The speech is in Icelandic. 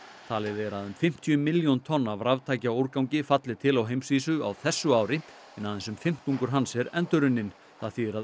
talið er að um fimmtíu milljón tonn af raftækjaúrgangi falli til á heimsvísu á þessu ári en aðeins um fimmtungur hans er endurunninn það þýðir að